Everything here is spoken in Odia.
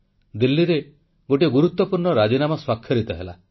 ଦିଲ୍ଲୀରେ ଏକ ଗୁରୁତ୍ୱପୂର୍ଣ୍ଣ ରାଜିନାମା ସ୍ୱାକ୍ଷରିତ ହେଲା